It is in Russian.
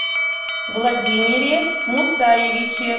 владимире мусаевиче